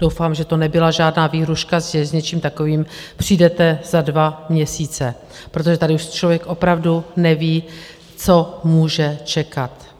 Doufám, že to nebyla žádná výhrůžka, že s něčím takovým přijdete za dva měsíce, protože tady už člověk opravdu neví, co může čekat.